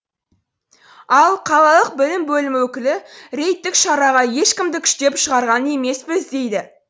ал қалалық білім бөлімі өкілі рейдтік шараға ешкімді күштеп шығарған емеспіз дейді